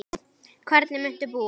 Hvernig muntu búa?